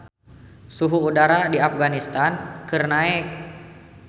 Suhu udara di Afganistan keur naek